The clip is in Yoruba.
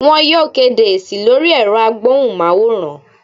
Wọn yóò kedé esi lori erò agbohún- maworán